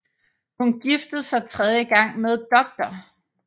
Hun giftede sig tredje gang med Dr